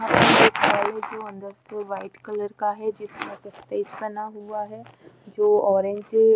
यहां पर एक हॉल है जो अंदर से व्हाइट कलर का है जिस कलर का स्टेज बना हुआ है जो ऑरेंज --